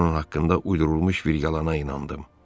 Mən onun haqqında uydurulmuş vilayəna inandım.